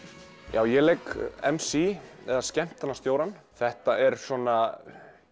já ég leik m c þetta er svona